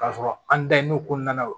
K'a sɔrɔ an dayirimɛw kɔnɔna na o